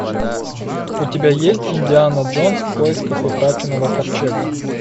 у тебя есть индиана джонс в поисках утраченного ковчега